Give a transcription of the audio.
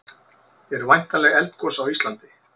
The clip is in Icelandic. eru væntanleg eldgos á íslandi